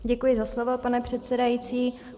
Děkuji za slovo, pane předsedající.